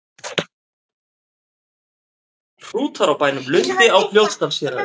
Hrútar á bænum Lundi á Fljótsdalshéraði.